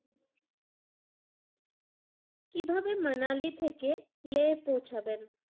কিভাবে মানালি থেকে লে পৌঁছাবেন?